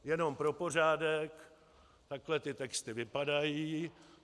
Jenom pro pořádek, takhle ty texty vypadají.